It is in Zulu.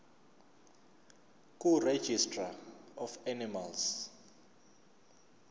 kuregistrar of animals